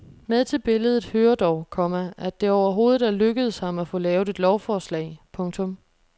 Med til billedet hører dog, komma at det overhovedet er lykkedes ham at få lavet et lovforslag. punktum